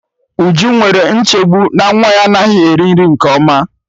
Uju nwere nchegbu na nwa ya anaghị eri nri nke ọma